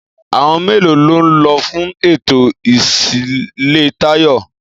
Àwon mélòó ló n lo fún ètò ìsílé Táyò?